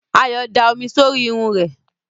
Ayọ̀ da omi sórí irun rẹ̀.